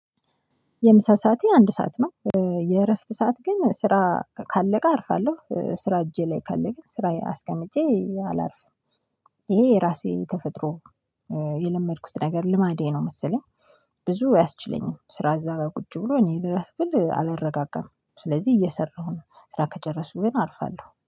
የምሳ ሰዓቴ አንድ ሰዓት ነው የእረፍት ሰዓት ግን ስራ ካለቀ አርፋለሁ ስራ እጄ ላይ ካለ ግን ስራዬ አስቀምጬ አላርፍም። ይሄ የራሴ ተፈጥሮ። የለመድኩት ነገር ልማዴ ነው መሰለኝ። ብዙ አያስችለኝም ስራ እዛ ጋር ቁጭ ብሎ እኔ ልረፍ ብል አልረጋጋም። ስለዚህ እየሰራሁ ነው ስራ ከጨረሰኩ ግን አርፋለሁ